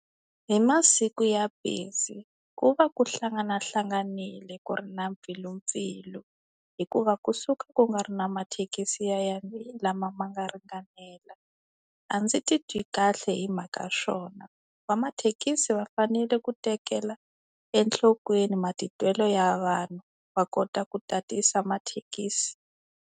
Hi masiku ya busy, ku va ku hlanganahlanganile ku ri na mpfilumpfilu. Hikuva kusuka ku nga ri na mathekisi lama ma nga ringanela. A ndzi titwi kahle hi mhaka swona. Vamathekisi va fanele ku tekela enhlokweni matitwelo ya vanhu, va kota ku tatisa mathekisi.